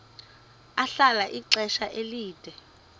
ahlala ixesha elide